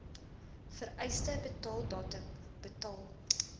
vereiste betaaldatum betaal